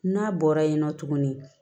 N'a bɔra yen nɔ tuguni